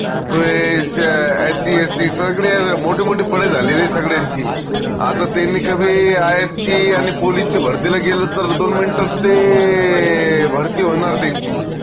सगड्या मोट मोट झालेलीय सगड्यांची आता त्यांनी कधी IAS ची आनि police ची भरतीला गेले तर त्याला दोन minute तात ते भरती होनार त्यांची